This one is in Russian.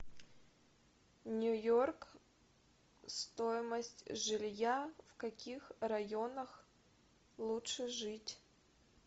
нью йорк стоимость жилья в каких районах лучше жить